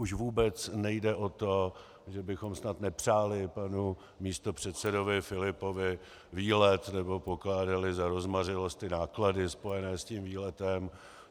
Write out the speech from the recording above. Už vůbec nejde o to, že bychom snad nepřáli panu místopředsedovi Filipovi výlet nebo pokládali za rozmařilost náklady spojené s tím výletem.